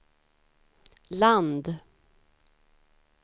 land